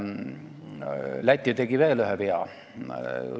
Läti on veel ühe vea teinud.